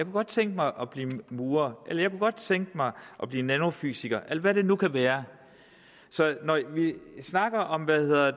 godt tænke mig at blive murer eller jeg kunne godt tænke mig at blive nanofysiker eller hvad det nu kan være så når jeg snakker om bedre